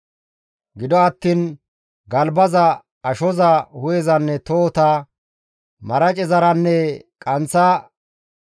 Gido attiin galbaza, ashoza, hu7ezanne tohota, maracezaranne qanththa asho,